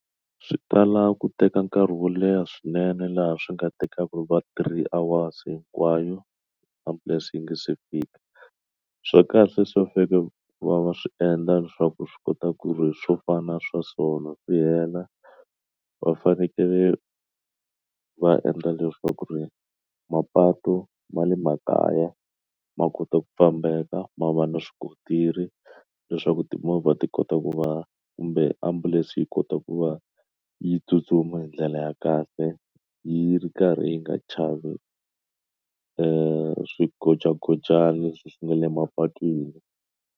Swi tala ku teka nkarhi wo leha swinene laha swi nga tekaka va three hours hinkwayo ambulense yi nga se fika swa kahle swa va fika va va swi endla leswaku swi kota ku ri swo fana swa sona swi hela va fanekele va endla leswaku ri mapatu ma le makaya ma kota ku fambeka ma va na swikontiri leswaku timovha ti kota ku va kumbe ambulense leswi yi kota ku va yi tsutsuma hi ndlela ya kahle yi ri karhi yi nga chavi i swi gojagojani swi nga le mapatwini.